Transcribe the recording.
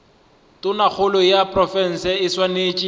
tonakgolo ya profense e swanetše